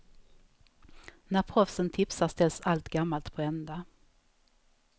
När proffsen tipsar ställs allt gammalt på ända.